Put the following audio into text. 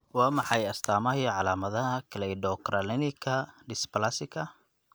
Waa maxay astamaaha iyo calaamadaha Cleidocranialka dysplasika?